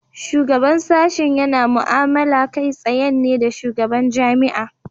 Shugaban sashi yana mu"amala kai tsayen ne da shugaban jami'a.